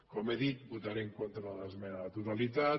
com he dit votaré en contra de l’esmena a la totalitat